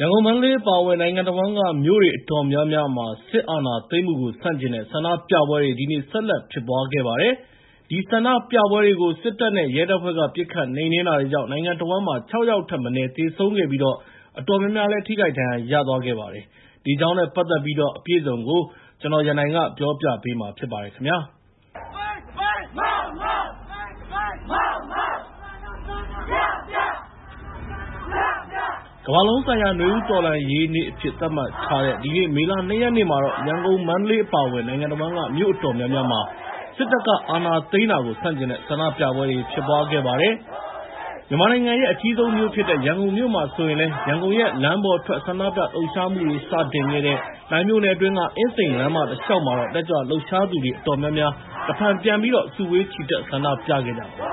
ရန်ကုန်၊ မန္တလေး အပါအဝင် နိုင်ငံတဝန်းက မြို့တွေ အတော်များများမှာ စစ်အာဏာသိမ်းမှုကို ဆန့်ကျင်တဲ့ ဆန္ဒပြပွဲတွေ ဒီနေ့ ဆက်လက် ဖြစ်ပွားခဲ့ပါတယ်။ အဲဒီဆန္ဒပြပွဲတွေကို စစ်တပ်နဲ့ ရဲတပ်ဖွဲ့က ပစ်ခတ်နှိမ်နင်းတာတွေကြောင့် နိုင်ငံတဝန်းမှာ ၆ ယောက်ထက်မနည်း သေဆုံးခဲ့ပြီး အတော်များများ ထိခိုက်ဒဏ်ရာ ရသွားခဲ့ပါတယ်။ ဒီအကြောင်းနဲ့ ပတ်သက်ပြီးတော့ အပြည့်အစုံကို ကိုရန်နိုင် တင်ပြပေးထားပါတယ်။ ကမ္ဘာလုံးဆိုင်ရာ နွေဦးတော်လှန်ရေးနေ့အဖြစ် သတ်မှတ်ထားတဲ့ ဒီနေ့ မေလ ၂ ရက်နေ့မှာတော့ ရန်ကုန်၊ မန္တလေး အပါအဝင် နိုင်ငံတဝန်းက မြို့အတော်များများမှာ စစ်တပ်က အာဏာသိမ်းတာကို ဆန့်ကျင်တဲ့ ဆန္ဒပြပွဲတွေ ဖြစ်ပွားခဲ့ပါတယ်။ မြန်မာနိုင်ငံရဲ့ အကြီးဆုံးမြို့ဖြစ်တဲ့ ရန်ကုန်မြို့မှာဆိုရင်လည်း ရန်ကုန်ရဲ့ လမ်းပေါ်ထွက် ဆန္ဒပြလှုပ်ရှားမှုတွေ စတင်ခဲ့တဲ့ လှိုင်မြို့နယ်အတွင်းက အင်းစိန်လမ်းမတလျှောက်မှာတော့ တက်ကြွလှုပ်ရှားသူတွေ အတော်များများ တဖန်ပြန်ပြီးတော့ စုဝေးချီတက် ဆန္ဒပြခဲ့ကြပါတယ်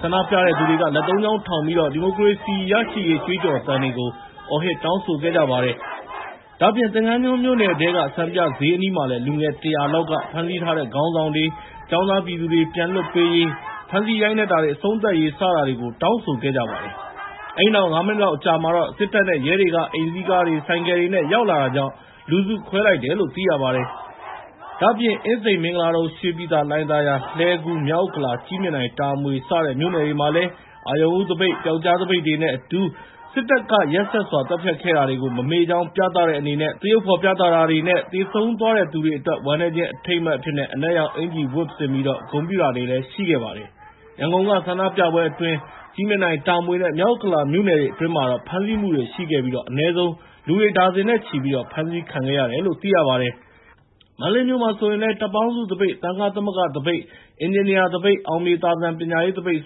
။ ဆန္ဒပြတဲ့သူတွေက လက် ၃ ချောင်းထောင်ပြီး ဒီမိုကရေစီရရှိရေး ကြွေးကြော်သံတွေကို အော်ဟစ် တောင်းဆိုခဲ့ကြပါတယ်။ ဒါ့အပြင် သင်္ဃန်းကျွန်းမြို့နယ်ထဲက စံပြဈေးအနီးမှာလည်း လူငယ် ၁၀၀ လောက်က ဖမ်းဆီးထားတဲ့ ခေါင်းဆောင်တွေနဲ့ ကျောင်းသားပြည်သူတွေ ပြန်လွှတ်ပေးရေး၊ ဖမ်းဆီးရိုက်နှက်တာတွေ အဆုံးသတ် ရပ်တန့်ရေးတွေကို တောင်းဆိုခဲ့ကြပါတယ်။ အဲဒီနောက် ၅ မိနစ်လောက် အကြာမှာတော့ စစ်တပ်နဲ့ ရဲတွေက အိမ်စီးကားတွေ၊ ဆိုင်ကယ်တွေနဲ့ ရောက်လာတာကြောင့် လူစုခွဲလိုက်တယ်လို့ သိရပါတယ်။ ဒါ့အပြင် အင်းစိန်၊ မင်္ဂလာဒုံ၊ ရွှေပြည်သာ၊ လှိုင်သာယာ၊ လှည်းကူး၊ မြောက်ဥက္ကလာ၊ ကြည့်မြင်တိုင်၊ တာမွေ စတဲ့မြို့နယ်တွေမှာလည်း အရုဏ်ဦးသပိတ်၊ ပြောက်ကျားသပိတ်တွေနဲ့အတူ စစ်တပ်က ရက်စက်စွာ သတ်ဖြတ်ခဲ့တာတွေ မမေ့ကြောင်း ပြသတဲ့အနေနဲ့ သရုပ်ဖော်ပြသတာတွေနဲ့ သေဆုံးသွားတဲ့ သူတွေအတွက် ဝမ်းနည်းခြင်းအထိမ်းအမှတ် အဖြစ်နဲ့ အနက်ရောင်အင်္ကျီတွေ ဝတ်ဆင်ပြီး ဂုဏ်ပြုခဲ့ကြပါတယ်။ ရန်ကုန်က ဆန္ဒပြပွဲအတွင်း ကြည့်မြင်တိုင်၊ တာမွေနဲ့ မြောက်ဥက္ကလာမြို့နယ်တွေ အတွင်းမှာတော့ ဖမ်းဆီးမှုတွေရှိခဲ့ပြီး အနည်းဆုံး လူတွေ ဒါဇင်နဲ့ချီ ဖမ်းဆီးခံခဲ့ရတယ်လို့ သိရပါတယ်။ မန္တလေးမြို့မှာဆိုရင်လည်း တပ်ပေါင်းစုသပိတ်၊ သံဃသမဂ္ဂသပိတ်၊ အင်ဂျင်နီယာသပိတ်၊ အောင်မြေသာစံ ပညာရေးသပိတ်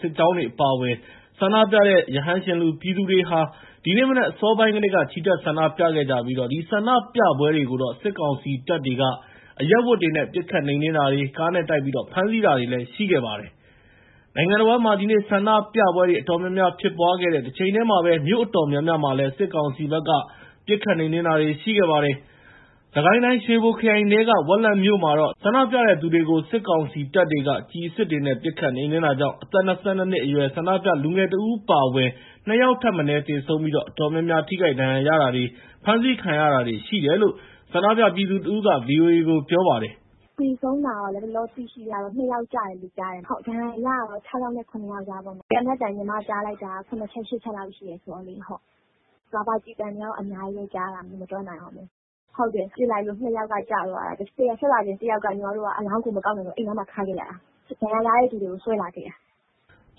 စစ်ကြောင်းတွေ အပါအဝင် ဆန္ဒပြတဲ့ ရဟန်းရှင်လူ ပြည်သူတွေဟာ ဒီနေ့မနက် အစောပိုင်းကတည်းက ချီတက်ဆန္ဒပြခဲ့ကြပြီး အဲဒီဆန္ဒပြပွဲတွေကို စစ်ကောင်စီတပ်တွေက အရပ်ဝတ်တွေနဲ့ ပစ်ခတ်နှိမ်နင်းတာတွေ၊ ကားနဲ့တိုက်ပြီး ဖမ်းဆီးတာတွေ ရှိခဲ့ပါတယ်။ နိုင်ငံတဝန်းမှာ ဒီနေ့ ဆန္ဒပြပွဲတွေ အတော်များများ ဖြစ်ပွားခဲ့တဲ့ တချိန်တည်းမှာပဲ မြို့အတော်များများမှာလည်း စစ်ကောင်စီဘက်က ပစ်ခတ်နှိမ်နင်းတာတွေ ရှိခဲ့ပါတယ်။ စစ်ကိုင်းတိုင်း ရွှေဘိုခရိုင်ထဲက ဝက်လက်မြို့မှာတော့ ဆန္ဒပြတဲ့သူတွေကို စစ်ကောင်စီတပ်တွေက ကျည်အစစ်တွေနဲ့ ပစ်ခတ်နှိမ်နင်းတာကြောင့် ၂၂ နှစ်အရွယ် ဆန္ဒပြလူငယ်တဦး အပါအဝင် ၂ ယောက်ထက်မနည်း သေဆုံးပြီး အတော်များများလည်း ထိခိုက်ဒဏ်ရာရတာတွေ၊ ဖမ်းဆီးခံရတာတွေ ရှိခဲ့တယ်လို့ ဆန္ဒပြပြည်သူတဦးက ဗွီအိုအေကို ပြောပါတယ်။ “သေဆုံးတာ လက်ရှိကတော့ ၂ ယောက်ကျတယ်လို့ ကြားတယ်။ ဒဏ်ရာရတာတော့ ၆ ယောက်နဲ့ ၇ ယောက်လောက်ပေါ့။ သေနတ်သံ ညီမကြားတာတော့ ၇ ချက် ၈ ချက်လောက်ရှိတယ်။ ရာဘာကျည်ဆန်တွေကတော့ အများကြီးပဲ ကြားတာ မရေမတွက်နိုင်အောင်ပဲ။ ပစ်လိုက်လို့ ၂ ယောက်က ကျသွားတာ။ တယောက်က အလောင်းကို မကောက်နိုင်တော့ဘူး၊ အဲဒီနားမှာ ထားခဲ့ရတာ။ ဒဏ်ရာရတဲ့လူတွေကို ဆွဲလာခဲ့တာ။”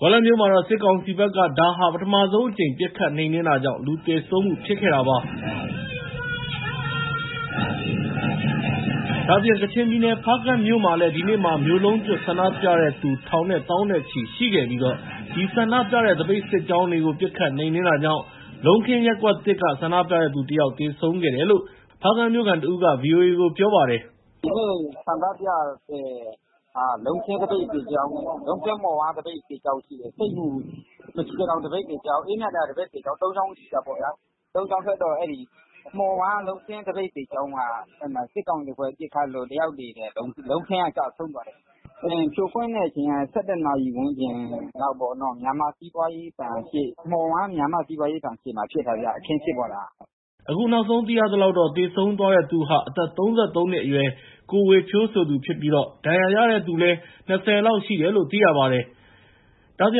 ဝက်လက်မြို့မှာတော့ စစ်ကောင်စီဘက်က ဒါဟာ ပထမဆုံးအကြိမ် ပစ်ခတ်နှိမ်နင်းတာကြောင့် လူသေဆုံးမှု ဖြစ်ခဲ့တာ ဖြစ်ပါတယ်။ ဒါ့အပြင် ကချင်ပြည်နယ် ဖားကန့်မြို့မှာလည်း ဒီနေ့မှာ မြို့လုံးကျွတ် ဆန္ဒပြတဲ့သူ ထောင်နဲ့ သောင်းနဲ့ချီ ရှိခဲ့ပြီး အဲဒီဆန္ဒပြတဲ့ သပိတ်စစ်ကြောင်းတွေကို ပစ်ခတ်နှိမ်နင်းတာကြောင့် လုံးခင်းရပ်ကွက်သစ်က ဆန္ဒပြတဲ့သူ ၁ ယောက် သေဆုံးခဲ့တယ်လို့ ဖားကန့်မြို့ခံတဦးက ဗွီအိုအေကို ပြောပါတယ်။ “ဒီနေ့ ဆန္ဒပြတာ လုံးခင်းသပိတ်စစ်ကြောင်း၊ လုံးခင်းမှော်ဝါး သပိတ်စစ်ကြောင်း ရှိတယ်။ ဆိပ်မူ မရှီကထောင် သပိတ်စစ်ကြောင်း၊ အေးမြသာယာ သပိတ်စစ်ကြောင်း သုံးကြောင်း ရှိတာပေါ့ဗျာ။ သုံးကြောင်းထွက်တော့ မှော်ဝါးလုံးခင်း သပိတ်စစ်ကြောင်းက စစ်ကောင်စီအဖွဲ့ ပစ်ခတ်လို့ တယောက်သေတယ်။ လုံးခင်းက ကျဆုံးသွားတယ်။ ဖြိုခွင်းတဲ့အချိန်က ၁၁ နာရီဝန်းကျင်လောက်ပေါ့။ မှော်ဝါး မြန်မာ့စီးပွားရေးဘဏ်ရှေ့မှာ အခင်းဖြစ်ပွားတာ။” အခုနောက်ဆုံး သိရသလောက်ကတော့ သေဆုံးသွားတဲ့သူဟာ အသက် ၃၃ နှစ်အရွယ် ကိုဝေဖြိုးဆိုသူဖြစ်ပြီး ဒဏ်ရာရတဲ့သူတွေလည်း ၂၀ လောက်ရှိတယ်လို့ သိရပါတယ်။ ဒါ့အပြ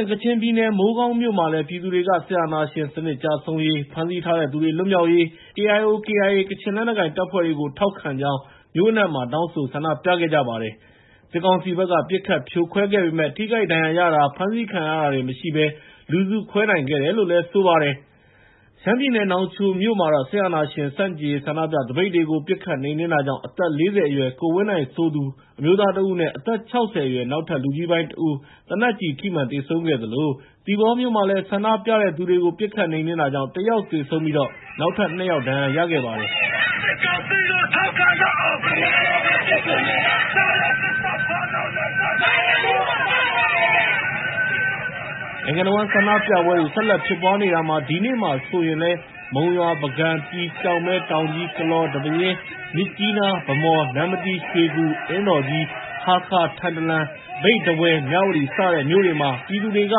င် ကချင်ပြည်နယ် မိုးကောင်းမြို့မှာလည်း ပြည်သူတွေက စစ်အာဏာရှင်စနစ် ကျဆုံးရေး၊ ဖမ်းဆီးထားသူတွေ လွတ်မြောက်ရေး၊ KIO, KIA ကချင်လက်နက်ကိုင်တပ်ဖွဲ့ကို ထောက်ခံကြောင်း မြို့အနှံ့ တောင်းဆို ဆန္ဒပြခဲ့ကြပါတယ်။ စစ်ကောင်စီဘက်က ပစ်ခတ်ဖြိုခွဲခဲ့ပေမယ့် ထိခိုက်ဒဏ်ရာရတာ ဖမ်းဆီးခံရတာတွေ မရှိဘဲ လူစုခွဲနိုင်ခဲ့ကြပါတယ်။ ရှမ်းပြည်နယ် နောင်ချိုမြို့မှာလည်း စစ်အာဏာရှင်ဆန့်ကျင်ရေး ဆန္ဒပြတဲ့ သပိတ်ကို ပစ်ခတ်နှိမ်နင်းတာကြောင့် အသက် ၄၀ အရွယ် ကိုဝင်းနိုင်ဆိုသူ အမျိုးသားတဦးနဲ့ အသက် ၆၀ အရွယ် နောက်ထပ် လူကြီးပိုင်းတဦး သေနတ်ကျည်ထိမှန် သေဆုံးခဲ့သလို သီပေါမြို့မှာလည်း ဆန္ဒပြတဲ့သူတွေကို ပစ်ခတ်နှိမ်နင်းတာကြောင့် ၁ ယောက် သေဆုံးပြီး နောက်ထပ် ၂ ယောက် ဒဏ်ရာရခဲ့ကြပါတယ်။ နိုင်ငံတဝန်း ဆန္ဒပြပွဲတွေ ဆက်လက်ဖြစ်ပွားနေတာမှာ ဒီနေ့မှာဆိုရင်လည်း မုံရွာ၊ ပုဂံ၊ ပြည်၊ ကျောက်မဲ၊ တောင်ကြီး၊ ကလော၊ ဒီပဲယင်း၊ မြစ်ကြီးနား၊ ဗန်းမော်၊ နမ္မတီး၊ ရွှေကူ၊ အင်းတော်ကြီး၊ ဟားခါး၊ ထန်တလန်၊ မြိတ်၊ ထားဝယ်၊ မြဝတီ စတဲ့မြို့တွေမှာလည်း ပြည်သူတွေက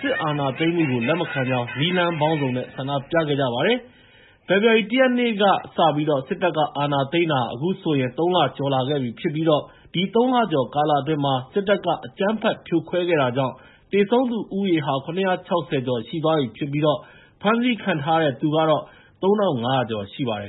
စစ်အာဏာသိမ်းမှုကို လက်မခံကြောင်း နည်းလမ်းပေါင်းစုံနဲ့ ဆန္ဒပြခဲ့ကြပါတယ်။ ဖေဖော်ဝါရီ ၁ ရက်နေ့ကစပြီး စစ်တပ်က အာဏာသိမ်းတာ အခုဆိုရင် ၃ လ ကျော်လာခဲ့ပြီဖြစ်ပြီး အဲဒီ ၃ လကျော်ကာလအတွင်း စစ်တပ်က အကြမ်းဖက် ဖြိုခွဲတာတွေကြောင့် သေဆုံးသူဦးရေဟာ ၇၆၀ ကျော်ရှိသွားပြီဖြစ်ပြီး ဖမ်းဆီးခံထားရတဲ့သူကတော့ ၃,၅၀၀ ကျော်ရှိပါတယ်